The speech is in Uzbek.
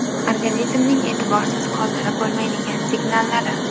Organizmning e’tiborsiz qoldirib bo‘lmaydigan signallari .